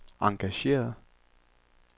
engageret